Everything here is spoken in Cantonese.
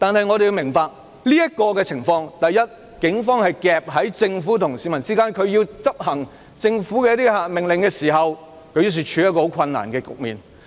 我們要明白在當前情況下，警方夾在政府與市民之間，警方為要執行政府的一些命令，因而處於一個很困難的局面。